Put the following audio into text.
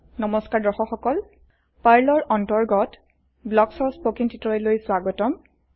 নমস্কাৰ দৰ্শক সকল পাৰ্লৰ অন্তৰ্গত ব্লকছৰব্লকছ স্পকেন টিউটৰিয়েললৈ স্বাগতম